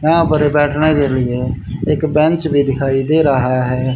यहां पर बैठने के लिए एक बेंच भी दिखाई दे रहा है।